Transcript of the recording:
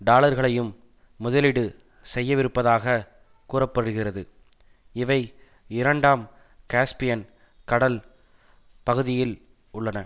டாலர்களையும் முதலீடு செய்யவிருப்பதாகக் கூற படுகிறது இவை இரண்டாம் காஸ்பியன் கடல் பகுதியில் உள்ளன